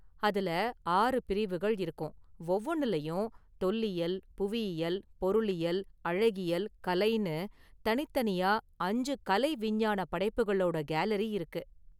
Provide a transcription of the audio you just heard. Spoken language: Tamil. அதுல ஆறு பிரிவுகள் இருக்கும், ஒவ்வொன்னுலயும் தொல்லியல், புவியியல், பொருளியல், அழகியல், கலைன்னு தனித்தனியா அஞ்சு கலை, விஞ்ஞான படைப்புகளோட கேலரி இருக்கு.